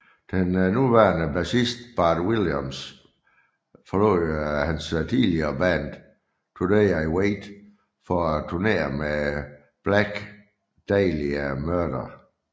Den nuværende bassist Bart Williams forlod hans tidligere band Today I Wait for at turnére med Black Dahlia Murder